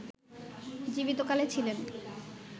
জীবিত কালে ছিলেন